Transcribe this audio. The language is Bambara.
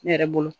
Ne yɛrɛ bolo